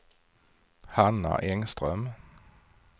Hanna Engström